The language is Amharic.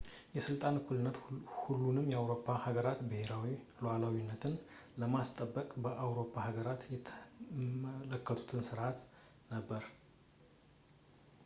የስልጣን እኩልነት የሁሉንም የአውሮፓ ሀገራትን ብሄራዊ ሉዓላዊነትን ለማስጠበቅ የአውሮፓ ሀገራት የተመለከቱት ስርዓት ነበር